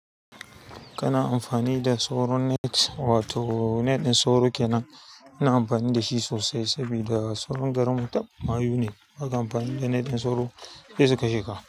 Kana amfani da sauron net wato net ɗin sauro ke nan. Ina amfani da shi sosai saboda sauron garin mu tab mayu ne. Baka amfani da net ɗin sauro sai su kashe ka.